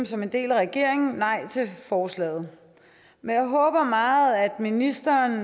som en del af regeringen stemme nej til forslaget men jeg håber meget at ministeren